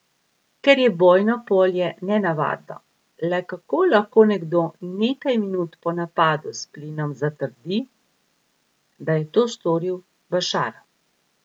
Ker je bojno polje nenavadno, le kako lahko nekdo nekaj minut po napadu s plinom zatrdi, da je to storil Bašar?